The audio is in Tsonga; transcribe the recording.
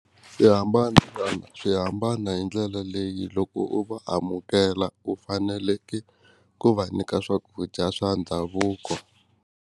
Swi hambana swi hambana hi ndlela leyi loko u va amukela u faneleke ku va nyika swakudya swa ndhavuko.